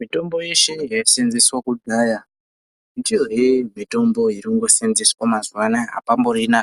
Mitombo yeshe yaiseenzeswa kudhaya ndiyohe mitombo irikungoseenzeswa mazuwa anaya apamborina